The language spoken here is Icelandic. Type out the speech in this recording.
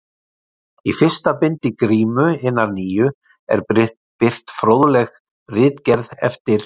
Í fyrsta bindi Grímu hinnar nýju er birt fróðleg ritgerð eftir